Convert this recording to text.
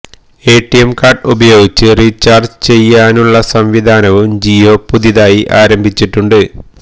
ATM card ഉപയോഗിച്ച് recharge ചെയ്യാനുള്ള സംവിധാനവും ജിയോ പുതുതായി ആരംഭിച്ചിട്ടുണ്ട്